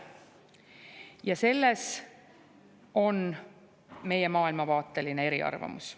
Ja selles on meie maailmavaateline eriarvamus.